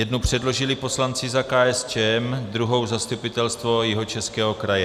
Jednu předložili poslanci za KSČM, druhou Zastupitelstvo Jihočeského kraje.